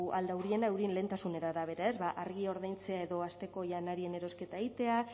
ahal dauriena eurien lehentasunen arabera ba argia ordaintzea edo asteko janarien erosketa egitea